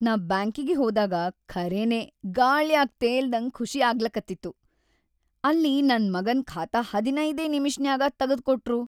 ನಾ ಬ್ಯಾಂಕಿಗಿ ಹೋದಾಗ ಖರೇನೆ ಗಾಳ್ಯಾಗ್‌ ತೇಲ್ದಂಗ್ ಖುಷಿ ಆಗ್ಲಕತ್ತಿತ್ತು, ಅಲ್ಲಿ ನನ್‌ ಮಗಂದ್‌ ಖಾತಾ ಹದನೈದೇ ನಿಮಿಷ್ನ್ಯಾಗ ತಗದ್ಕೊಟ್ರು.